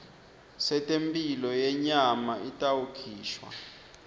setemphilo yenyama itawukhishwa